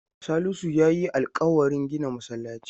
Salisu ya yi alƙawarin gina masallaci.